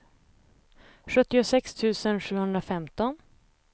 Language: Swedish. sjuttiosex tusen sjuhundrafemton